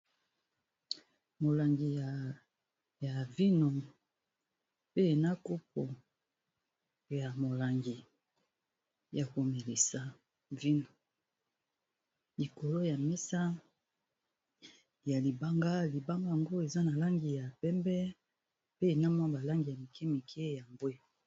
Molangi ya vino pe na kopo ya molangi ya ko melisa vino likolo ya mesa ya libanga. Libanga yango eza na langi ya pembe, pe na mwa ba langi ya mike mike ya mbwe.